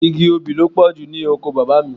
Igi obì ló pọ̀jù ní oko bàbá mi.